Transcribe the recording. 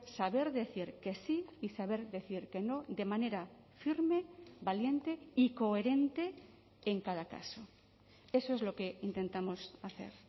saber decir que sí y saber decir que no de manera firme valiente y coherente en cada caso eso es lo que intentamos hacer